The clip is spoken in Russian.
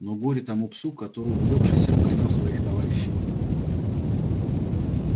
но горе тому псу который увлёкшись обгонял своих товарищей